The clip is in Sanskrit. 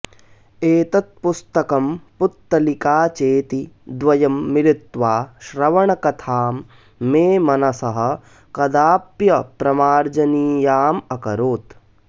एतत्पुस्तकं पुत्तलिकाचेति द्वयं मिलित्वा श्रवणकथां मे मनसः कदाप्यप्रमार्जनीयामकरोत्